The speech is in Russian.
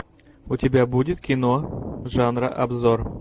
у тебя будет кино жанра обзор